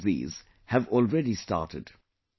Most of these have already started